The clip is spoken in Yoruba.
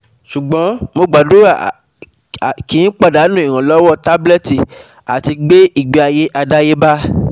Ṣugbọn, mo gbadura ki padanu iranlọwọ tablet ati gbe igbeaye adayeba